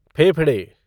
फेफड़े